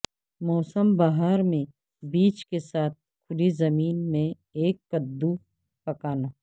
موسم بہار میں بیج کے ساتھ کھلی زمین میں ایک قددو پکانا